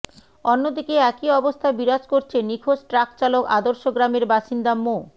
অন্যদিকে একই অবস্থা বিরাজ করছে নিখোঁজ ট্রাকচালক আদর্শগ্রামের বাসিন্দা মো